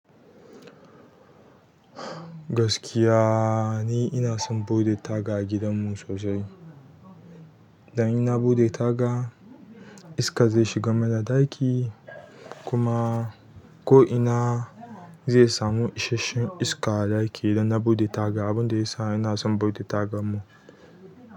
Gaskiya ni ina son buɗe taga a gidanmu sosai. Idan ina buɗe taga iska zai shiga mana ɗaki kuma ko ina zai samu ishasshen iska a ɗaki idan na buɗe taga. Abun da ya sa ina son buɗe tagan mu.